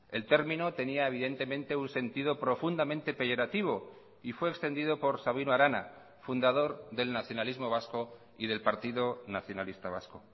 el término tenía evidentemente un sentido profundamente peyorativo y fue extendido por sabino arana fundador del nacionalismo vasco y del partido nacionalista vasco